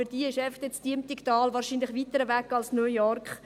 Für diese ist das Diemtigtal wahrscheinlich weiter entfernt als New York.